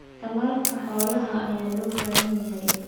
Tallaalka xoolaha ayaa loo baahan yahay.